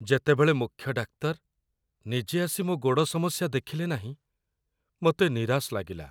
ଯେତେବେଳେ ମୁଖ୍ୟ ଡାକ୍ତର ନିଜେ ଆସି ମୋ ଗୋଡ଼ ସମସ୍ୟା ଦେଖିଲେ ନାହିଁ, ମୋତେ ନିରାଶ ଲାଗିଲା।